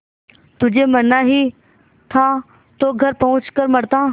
तुझे मरना ही था तो घर पहुँच कर मरता